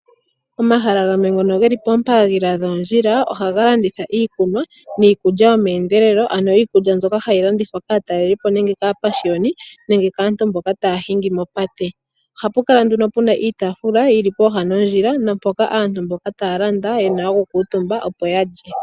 Pomahala gamwe ngono geli pooha dhoondjila ohaga landitha iikunwa niikulya yomeendelelo ano iikulya mbyoka hayi landithwa kaatalelipo nenge kaapashiyoni nenge kaantu mboka taya hingi mopate. Oha pu kala nduno pu na iitafula yili popepi nondjila mpoka aantu mboka taya landa ye na okukuutumba opo ya lye.